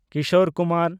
Kishore Kumar